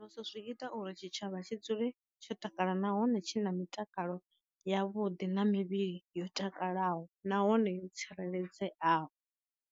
Zwi ita uri tshi tshavha tshi dzule tsho takala nahone tshi na mitakalo ya vhuḓi na mivhili yo takalaho nahone yo tsireledzeaho.